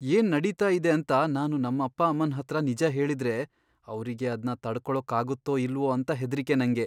ಏನ್ ನಡೀತಾ ಇದೆ ಅಂತ ನಾನು ನಮ್ಮಪ್ಪ ಅಮ್ಮನ್ಹತ್ರ ನಿಜ ಹೇಳಿದ್ರೆ, ಅವ್ರಿಗೆ ಅದ್ನ ತಡ್ಕೊಳಕ್ಕಾಗತ್ತೋ ಇಲ್ವೋ ಅಂತ ಹೆದ್ರಿಕೆ ನಂಗೆ.